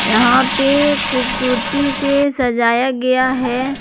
यहां पे खूबसूरती से सजाया गया है।